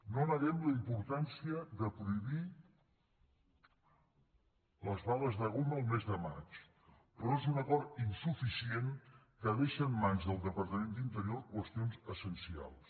no neguem la importància de prohibir les bales de goma el mes de maig però és un acord insuficient que deixa en mans del departament d’interior qüestions essencials